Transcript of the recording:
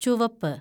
ചുവപ്പ്